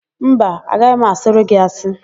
Mba, agaghị m asịrị gị asị.